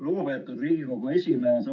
Lugupeetud Riigikogu esimees!